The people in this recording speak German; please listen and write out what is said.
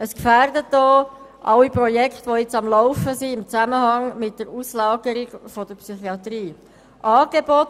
Damit werden auch alle Projekte gefährdet, die im Moment im Zusammenhang mit der Auslagerung der Psychiatrie laufen.